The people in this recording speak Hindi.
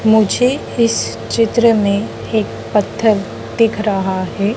मुझे इस चित्र में एक पत्थर दिख रहा है।